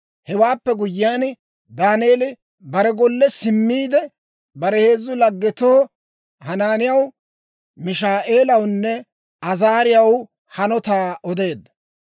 Hewaappe guyyiyaan, Daaneeli bare golle simmiide, bare heezzu laggetoo, Hanaaniyaw, Mishaa'eelawunne Azaariyaw hanotaa odeedda.